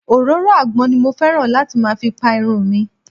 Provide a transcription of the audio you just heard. Òróró àgbọn ni mo fẹ́ràn láti máa fi Pa irun mìi.